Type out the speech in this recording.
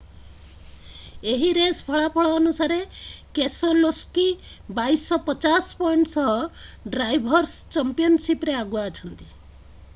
ଏହି ରେସ୍ ଫଳାଫଳ ଅନୁସାରେ କେସେଲୋସ୍କି 2,250 ପଏଣ୍ଟ ସହ ଡ୍ରାଇଭର୍’ସ୍ ଚମ୍ପିଅନଶିପ୍‌ରେ ଆଗୁଆ ଅଛନ୍ତି।